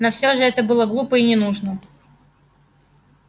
но все же это было глупо и ненужно